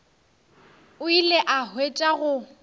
o ile a hwetša go